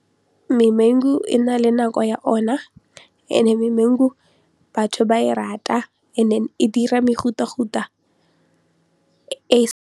Memangu e na le nako ya ona and-e memangu batho ba e rata and then e dira mefutafuta e.